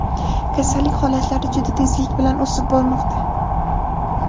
Kasallik holatlari juda tezlik bilan o‘sib bormoqda.